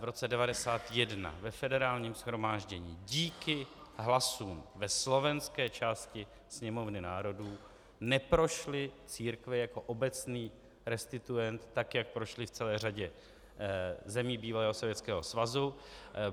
V roce 1991 ve Federálním shromáždění díky hlasům ve slovenské části Sněmovny národů neprošly církve jako obecný restituent, tak jak prošly v celé řadě zemí bývalého Sovětského svazu.